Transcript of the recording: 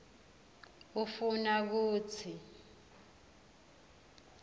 ufuna kutsini